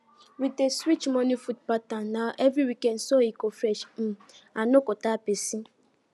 we dey switch morning food pattern every weekend so e go fresh um and no go tire person